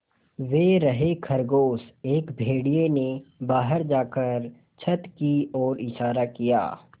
वे रहे खरगोश एक भेड़िए ने बाहर जाकर छत की ओर इशारा किया